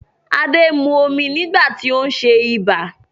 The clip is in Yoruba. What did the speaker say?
Adé mu omi nígbà tí ó ń ṣe ibà